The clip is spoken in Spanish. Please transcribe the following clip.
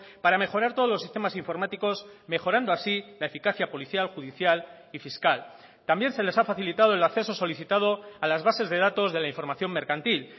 para mejorar todos los sistemas informáticos mejorando así la eficacia policial judicial y fiscal también se les ha facilitado el acceso solicitado a las bases de datos de la información mercantil